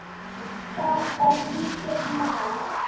Það er lítið mál.